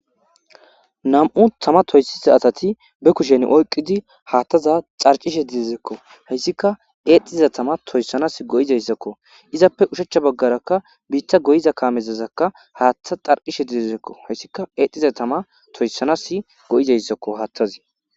nam7u tama toyssiza asati be kushen oyqidi haattaza carcishe didizekko hayssika eexxiza tama toyssanas go7izayssakko izappe ushechcha baggarakka biitta goyiza kaamezazakka haattha xarqishe didizekko hayssika eexxhiza tama toyssanas go7izayssakko haattazi